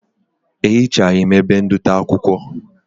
Ehichaghi m ebe ndote akwụkwọ